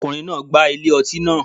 Ọkùnrin náà gbá ilé ọtí naa